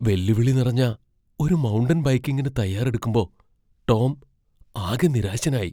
വെല്ലുവിളി നിറഞ്ഞ ഒരു മൗണ്ടൻ ബൈക്കിംഗിന് തയ്യാറെടുക്കുമ്പോ ടോം ആകെ നിരാശനായി.